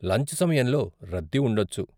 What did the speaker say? Lunch సమయంలో రద్దీ ఉండొచ్చు.